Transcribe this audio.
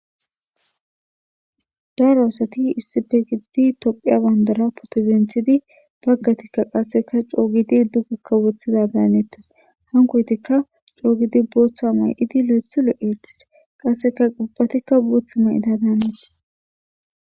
daro asati issife gididi tophiya bandara potozinthidi baggatikka qasseka coogidi dugikka woththida daaneettes hankoytikka coogidi booththa may7idi le7ethu lu eettis qasseka qubphatikka booththa may7ida daanettes